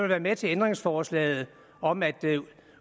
være med til ændringsforslaget om at